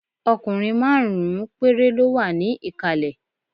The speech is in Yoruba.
Ọkùnrin márùn-ún péré ló wà ní ìkàlẹ̀